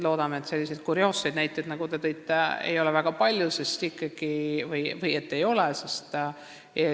Loodame, et selliseid kurioosseid näiteid, nagu te tõite, ei ole väga palju või ei olegi.